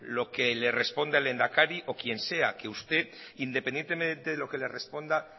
lo que responda el lehendakari o quien sea que usted independientemente de lo que le responda